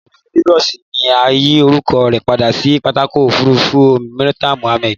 Pápákọ̀ òfurufú Lagos ni a yi orúkọ rẹ padà si pápákọ̀ òfurufú Muritala Muhammed